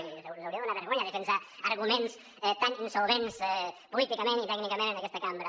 i els hauria de donar vergonya defensar arguments tan insolvents políticament i tècnicament en aquesta cambra